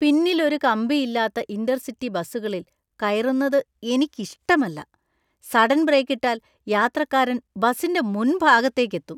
പിന്നിൽ ഒരു കമ്പി ഇല്ലാത്ത ഇന്‍റർസിറ്റി ബസ്സുകളിൽ കയറുന്നത് എനിക്ക് ഇഷ്ടമല്ല . സഡൻ ബ്രേക്കിട്ടാൽ യാത്രക്കാരൻ ബസിന്‍റെ മുൻഭാഗത്തേക്ക് എത്തും.